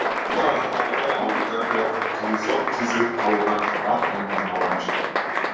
адамдарды алыптар деп атап кездейсоқ кезігіп қалудан ат тондарын ала қашады